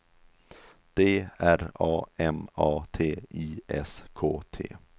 D R A M A T I S K T